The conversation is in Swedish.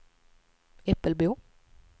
Äppelbo